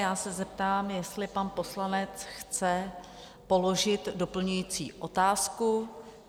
Já se zeptám, jestli pan poslanec chce položit doplňující otázku?